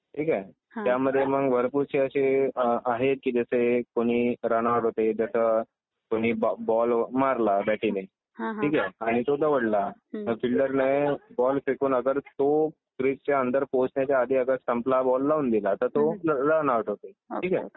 ठीक आहे. त्यामध्ये मग भरपूरसे असे आहे की जसे कुणी रन आउट होते जसं तुम्ही बॉल मारला बॅटीने ठीक आहे आणि तो दवडला तर फील्डरने बॉल फेकून अगर तो क्रीजच्या अंदर पोचण्याच्या आधी अगर स्टंपला बॉल लावून दिल तर तो रन आउट होते. ठीक आहे.